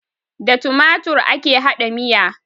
Da tumatur ake haɗa miya